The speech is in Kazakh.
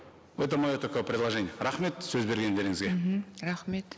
это мое такое предложение рахмет сөз бергендеріңізге мхм рахмет